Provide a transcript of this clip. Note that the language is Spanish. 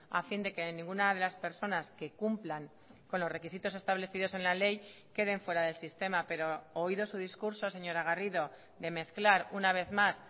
a fin de que ninguna de las personas que cumplan con los requisitos establecidos en la ley queden fuera del sistema pero oído su discurso señora garrido de mezclar una vez más